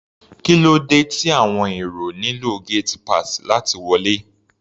Kí ló dé tí àwọn èrò nílò gate pass láti wọlé?